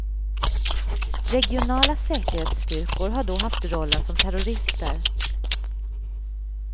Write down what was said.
Regionala säkerhetsstyrkor har då haft rollen som terrorister.